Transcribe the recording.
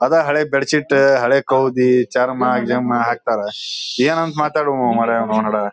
ಅದ ಹಳೆ ಬೆಡ್ಶೀಟ್ ಹಳೆ ಕವಿದಿ ಚರ್ಮ್ನ ಗಿರ್ಮ್ ಹಾಕ್ತಾರಾ. ಏನ್ ಅಂತ ಮಾತಾಡುದ್ ಮರ್ರೆ ಅವನೌನ್ ಹಡಾ.